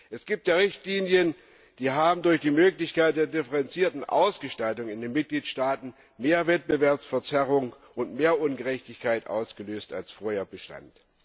Es gibt ja Richtlinien, die durch die Möglichkeit der differenzierten Ausgestaltung in den Mitgliedstaaten mehr Wettbewerbsverzerrung und mehr Ungerechtigkeit ausgelöst haben, als vorher bestand.